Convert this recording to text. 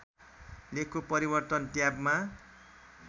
लेखको परिवर्तन ट्याबमा